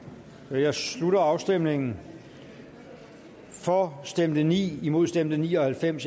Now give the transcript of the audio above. nu jeg slutter afstemningen for stemte ni imod stemte ni og halvfems